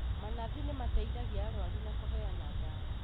Manathi nĩmateithagia arwaru na kũheana ndawa